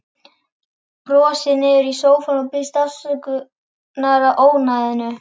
Brosir niður í sófann og biðst afsökunar á ónæðinu.